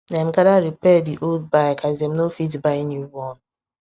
dem gather repair the old bike as dem no fit buy new one